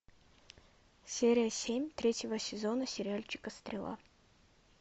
серия семь третьего сезона сериальчика стрела